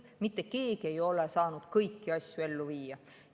Mitte keegi ei ole saanud kõiki asju ellu viia.